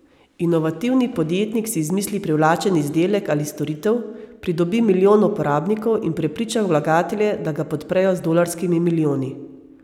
Inovativni podjetnik si izmisli privlačen izdelek ali storitev, pridobi milijon uporabnikov in prepriča vlagatelje, da ga podprejo z dolarskimi milijoni.